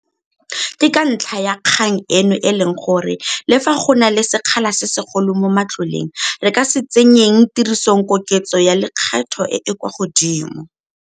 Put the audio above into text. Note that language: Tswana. Ke ka ntlha ya kgang eno e leng gore, le fa go na le sekgala se segolo mo matloleng, re ka se tsenyeng tirisong koketso ya lekgetho e e kwa godimo.